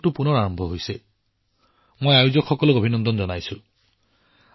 মই ইয়াৰ সংগঠনৰ সৈতে জড়িত সকলো লোকক অভিনন্দন জনাইছো